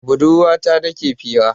Da budurwa ta nike fira